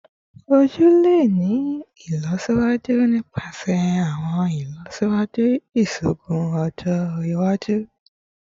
Oju le ni ilọsiwaju nipasẹ awọn ilọsiwaju iṣoogun ọjọ iwaju